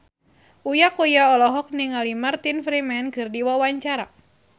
Uya Kuya olohok ningali Martin Freeman keur diwawancara